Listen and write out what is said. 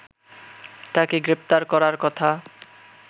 তাকে গ্রেপ্তার করার কথা